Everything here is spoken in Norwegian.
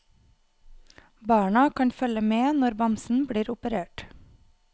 Barna kan følge med når bamsen blir operert.